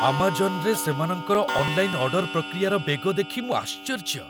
ଆମାଜନ୍‌ରେ ସେମାନଙ୍କର online order ପ୍ରକ୍ରିୟାର ବେଗ ଦେଖି ମୁଁ ଆଶ୍ଚର୍ଯ୍ୟ।